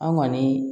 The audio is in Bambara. An kɔni